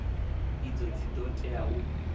idzo dzi ḓo tea u